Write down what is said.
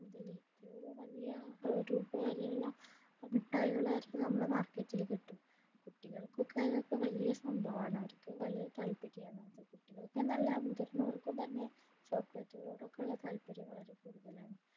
മുതൽ എത്രയോ വലിയ രൂപ വരെയുള്ള മിട്ടായികൾ വേറെ നമ്മടെ market ഇൽ കിട്ടും കുട്ടികൾക്കൊക്കെ അതൊക്കെ വലിയ സംഭവമാണ് അവർക്കും വലിയ താത്പര്യമാണ് അത് കുട്ടികൾക്ക് എന്നല്ല മുതിർന്നവർക്കും തന്നെ chocolate ളോടൊക്കെയുള്ള താത്പര്യം വളരെ കൂടുതലാണ്